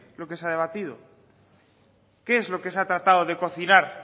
lo que se ha debatido qué es lo que se ha tratado de cocinar